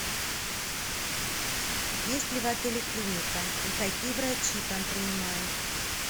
есть ли в отеле клиника и какие врачи там принимают